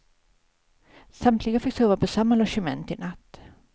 Samtliga fick sova på samma logement i natt.